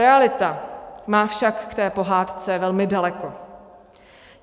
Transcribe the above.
Realita má však k té pohádce velmi daleko.